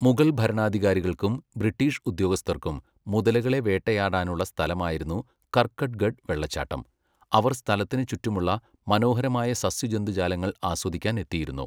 മുഗൾ ഭരണാധികാരികൾക്കും ബ്രിട്ടീഷ് ഉദ്യോഗസ്ഥർക്കും മുതലകളെ വേട്ടയാടാനുള്ള സ്ഥലമായിരുന്നു കർക്കട്ട്ഗഡ് വെള്ളച്ചാട്ടം, അവർ സ്ഥലത്തിന് ചുറ്റുമുള്ള മനോഹരമായ സസ്യജന്തുജാലങ്ങൾ ആസ്വദിക്കാൻ എത്തിയിരുന്നു.